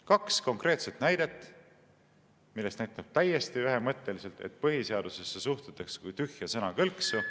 Kaks konkreetset näidet, millest nähtub täiesti ühemõtteliselt, et põhiseadusesse suhtutakse kui tühja sõnakõlksu.